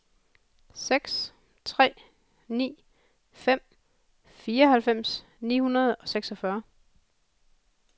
seks tre ni fem fireoghalvfems ni hundrede og seksogfyrre